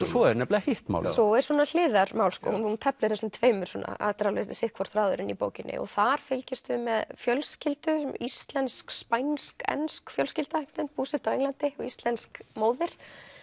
svo er nefnilega hitt málið svo er svona hliðarmál hún teflir þessum tveimur þetta er alveg sitt hvor þráðurinn í bókinni þar fylgjumst við með fjölskyldu íslensk spænsk ensk fjölskylda einhvern veginn búsett á Englandi íslensk móðir